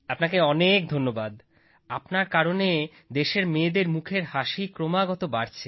আপনাকে অনেক ধন্যবাদ আপনার কারণে দেশের মেয়েদের মুখের হাসি ক্রমাগত বাড়ছে